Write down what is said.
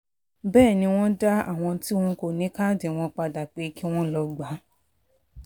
bẹ́ẹ̀ ni wọ́n dá àwọn tí wọn kò ní káàdì wọn padà pé kí wọ́n lọ́ọ gbà á